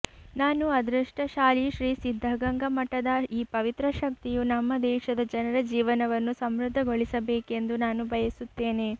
ನಾನು ಅದೃಷ್ಟಶಾಲಿಶ್ರೀ ಸಿದ್ದಗಂಗ ಮಠದ ಈ ಪವಿತ್ರ ಶಕ್ತಿಯು ನಮ್ಮ ದೇಶದ ಜನರ ಜೀವನವನ್ನು ಸಮೃದ್ಧಗೊಳಿಸಬೇಕೆಂದು ನಾನು ಬಯಸುತ್ತೇನೆ